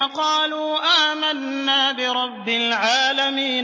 قَالُوا آمَنَّا بِرَبِّ الْعَالَمِينَ